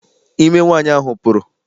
Ime nwaanyị ahụ pụrụ.